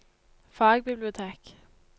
fagbibliotek